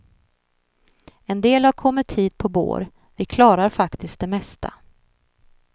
En del har kommit hit på bår, vi klarar faktiskt det mesta.